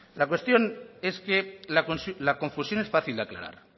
la cuestión es que la confusión es fácil de aclarar